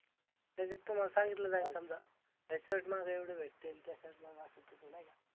त्याच्यात तुम्हाला सांगितलं जाईल समजा ह्या Shirt मागं एवढे भेटतील. ह्या Shirt मला असं तस नाही का?